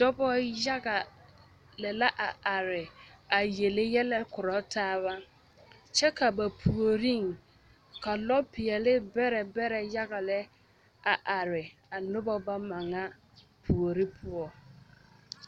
Dɔbɔ yaga lɛ la a are a yele yɛlɛ korɔ taaba kyɛ ka ba puoriŋ ka lɔ peɛle bɛrɛ bɛrɛ yaga lɛ a are a nobɔ bama ŋa puore poɔ.